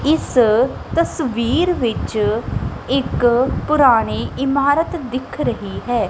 ਇਸ ਤਸਵੀਰ ਵਿੱਚ ਇੱਕ ਪੁਰਾਣੀ ਇਮਾਰਤ ਦਿੱਖ ਰਹੀ ਹੈ।